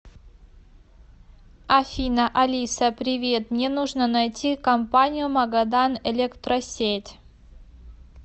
афина алиса привет мне нужно найти компанию магадан электросеть